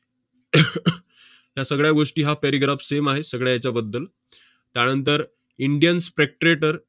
त्या सगळ्या गोष्टी हा paragraph same आहे सगळ्या हेच्याबद्दल. त्यानंतर indian spectrator